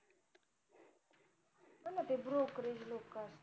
हो ना ते brokerage लोकंय